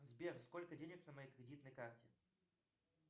сбер сколько денег на моей кредитной карте